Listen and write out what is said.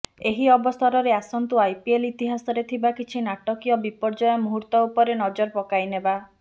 ଏହି ଅବସରରେ ଆସନ୍ତୁ ଆଇପିଏଲ୍ ଇତିହାସରେ ଥିବା କିଛି ନାଟକୀୟ ବିପର୍ଯ୍ୟୟ ମୁହୂର୍ତ ଉପରେ ନଜର ପକାଇନେବା